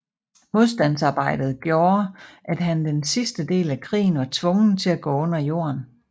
Modstandsarbejdet gjorde at han den sidste del af krigen var tvungen at gå under jorden